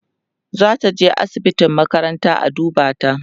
zataje asibitin makaranta a duba ta